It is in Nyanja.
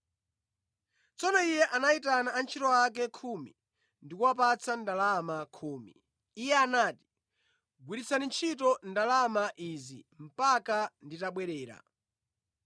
Tsono iye anayitana antchito ake khumi ndi kuwapatsa ndalama khumi. Iye anati, ‘Gwiritsani ntchito ndalama izi mpaka nditabwerera.’